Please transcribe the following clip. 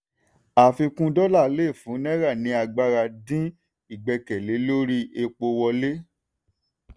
àfikún dọ́là lè fún náírà ní agbára dín ìgbẹ́kẹ̀lé lórí epo wọlé.